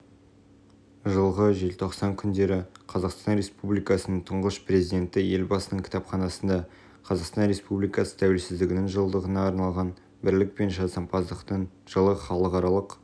жылғы желтоқсан күндері қазақстан республикасының тұңғыш президенті елбасының кітапханасында қазақстан республикасы тәуелсіздігінің жылдығына арналған бірлік пен жасампаздықтың жылы халықаралық